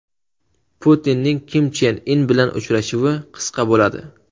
Putinning Kim Chen In bilan uchrashuvi qisqa bo‘ladi.